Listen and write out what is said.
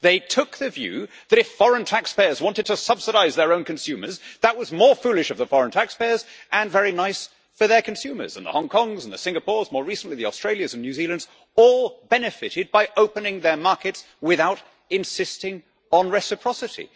They took the view that, if foreign taxpayers wanted to subsidise their own consumers, that was more foolish of the foreign taxpayers and very nice for their consumers, and the Hong Kongs, the Singapores, more recently the Australias and New Zealands, all benefited by opening their markets without insisting on reciprocity.